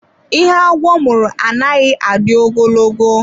Ihe agwọ mụrụ anaghị adị ogologo.